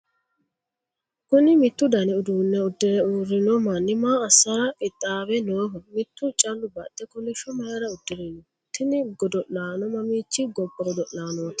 kuni miitu dani uduunne uddire uurrino manni maa assara qixxaawe nooho? mittu callu baxxe kolishsho mayiira uddirino? tini godo'laano mamiichi gobba godo'laanooti?